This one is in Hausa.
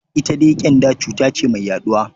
Ita dai ƙyanda cuta ce mai yaɗuwa.